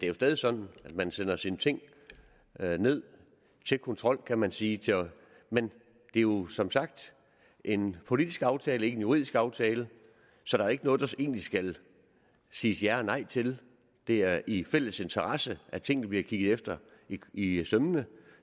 jo stadig sådan at man sender sine ting ned til kontrol kan man sige men det er jo som sagt en politisk aftale ikke en juridisk aftale så der er ikke noget der egentlig skal siges ja eller nej til det er i fælles interesse at tingene bliver kigget efter i i sømmene